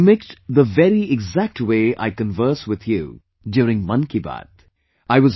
He mimicked the very exact way I converse with you during 'Mann KiBaat'